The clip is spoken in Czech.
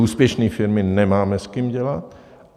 Úspěšné firmy - nemáme s kým dělat.